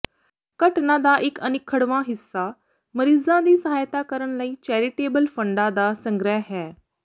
ਘਟਨਾ ਦਾ ਇੱਕ ਅਨਿੱਖੜਵਾਂ ਹਿੱਸਾ ਮਰੀਜ਼ਾਂ ਦੀ ਸਹਾਇਤਾ ਕਰਨ ਲਈ ਚੈਰੀਟੇਬਲ ਫੰਡਾਂ ਦਾ ਸੰਗ੍ਰਹਿ ਹੈ